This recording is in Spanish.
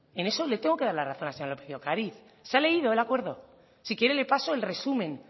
en eso le tengo que dar la razón a la señora lópez de ocariz se ha leído el acuerdo si quiere le paso el resumen